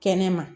Kɛnɛma